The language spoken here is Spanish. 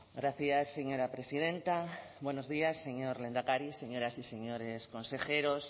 gracias señora presidenta buenos días señor lehendakari señoras y señores consejeros